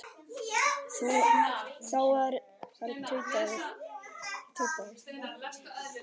Þá var tautað